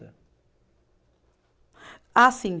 Ah, sim.